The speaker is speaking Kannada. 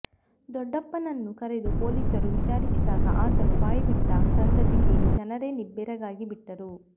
ದೊಡ್ಡಪ್ಪ ನನ್ನು ಕರೆದು ಪೋಲೀಸರು ವಿಚಾರಿಸಿದಾಗ ಆತನು ಬಾಯ್ಬಿಟ್ಟ ಸಂಗತಿ ಕೇಳಿ ಜನರೇ ನಿಬ್ಬೆರಗಾಗಿ ಬಿಟ್ಟರು